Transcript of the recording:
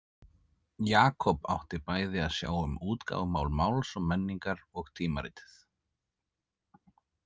Jakob átti bæði að sjá um útgáfumál Máls og menningar og tímaritið.